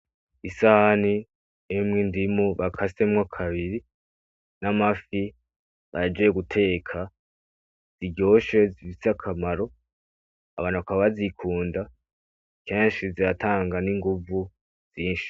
Isahani irimwo indimu bakasemwo kabiri, n'amafi bahejeje guteka, biryoshe bifise akamaro abantu bakaba bazikunda kenshi ziratanga n'inguvu zinshi.